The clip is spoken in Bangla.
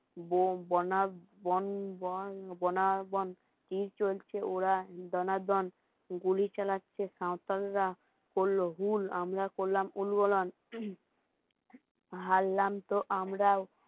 কি চলছে ওরা দান দন গুলি চালাচ্ছে সাঁওতালরা করলো মূল আমরা করলাম হারলাম তো আমরাও